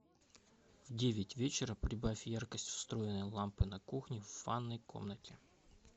в девять вечера прибавь яркость встроенной лампы на кухне в ванной комнате